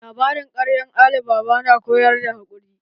Labarin ƙaryar Ali baba na koyar da haƙuri.